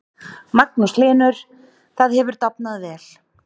Magnús Hlynur: Það hefur dafnað vel?